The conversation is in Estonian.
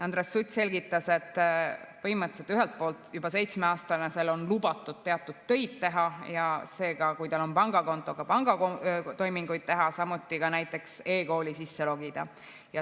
Andres Sutt selgitas, et põhimõtteliselt on ühelt poolt juba 7‑aastasel lubatud teatud töid teha ja kui tal on pangakonto, ka pangatoiminguid teha, samuti näiteks eKooli sisse logida.